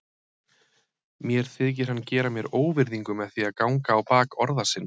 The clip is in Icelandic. Mér þykir hann gera mér óvirðingu með því að ganga á bak orða sinna.